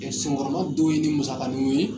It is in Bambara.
Yɛrɛ senkɔrɔla dɔw ye du musaganiw ye